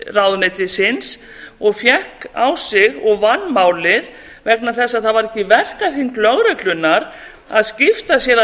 ráðuneytisins og fékk á sig og vann málið vegna þess að það var ekki í verkahring lögreglunnar að sitja sér af